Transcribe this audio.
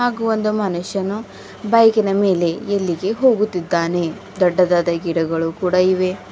ಹಾಗೂ ಒಂದು ಮನುಷ್ಯನು ಬೈಕಿನ ಮೇಲೆ ಎಲ್ಲಿಗೆ ಹೋಗುತ್ತಿದ್ದಾನೆ ದೊಡ್ಡದಾದ ಗಿಡಗಳು ಕೂಡ ಇವೆ.